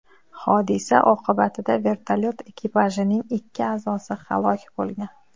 Hodisa oqibatida vertolyot ekipajining ikki a’zosi halok bo‘lgan.